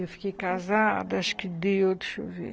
Eu fiquei casada, acho que deu, deixa eu ver.